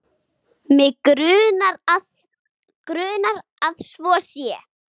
Mig grunar að svo sé.